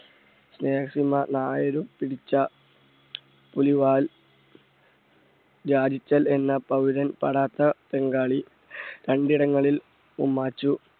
നായര് പിടിച്ച പുലിവാൽ എന്ന തൊടാത്ത പോരാളി, രണ്ടിടങ്ങളിൽ ഉമ്മാച്ചു